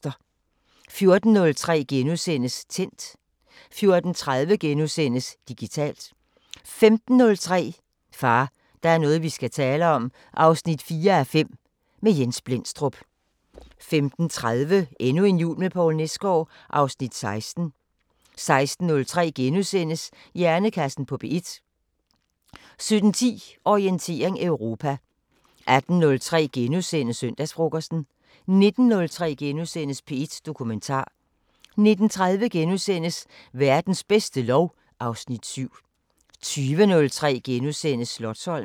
14:03: Tændt * 14:30: Digitalt * 15:03: Far, der er noget vi skal tale om 4:5 – med Jens Blendstrup 15:30: Endnu en jul med Poul Nesgaard (Afs. 16) 16:03: Hjernekassen på P1 * 17:10: Orientering Europa 18:03: Søndagsfrokosten * 19:03: P1 Dokumentar * 19:30: Verdens bedste lov (Afs. 7)* 20:03: Slotsholmen *